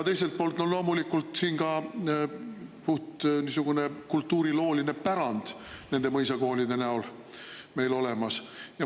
Teiselt poolt on siin loomulikult puht kultuurilooline pärand nende mõisakoolide näol meil olemas.